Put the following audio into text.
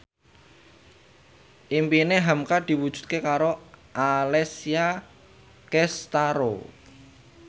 impine hamka diwujudke karo Alessia Cestaro